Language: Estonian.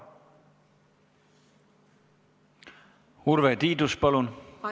Urve Tiidus, palun!